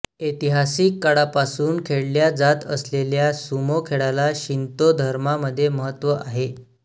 ऐतिहासिक काळापासून खेळल्या जात असलेल्या सुमो खेळाला शिंतो धर्मामध्ये महत्त्व आहे